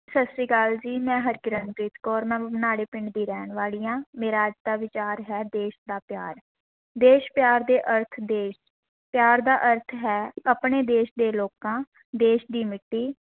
ਸਤਿ ਸ੍ਰੀ ਅਕਾਲ ਜੀ ਮੈਂ ਹਰਕਿਰਨਪ੍ਰੀਤ ਕੌਰ ਮੈਂ ਪਿੰਡ ਦੀ ਰਹਿਣ ਵਾਲੀ ਹਾਂ ਮੇਰਾ ਅੱਜ ਦਾ ਵਿਚਾਰ ਹੈ ਦੇਸ ਦਾ ਪਿਆਰ, ਦੇਸ ਪਿਆਰ ਦੇ ਅਰਥ, ਦੇਸ ਪਿਆਰ ਦਾ ਅਰਥ ਹੈ, ਆਪਣੇ ਦੇਸ਼ ਦੇ ਲੋਕਾਂ, ਦੇਸ਼ ਦੀ ਮਿੱਟੀ,